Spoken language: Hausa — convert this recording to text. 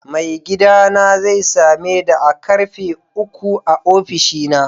Mai gidana zai same da a'karfe uku a ofishinsa.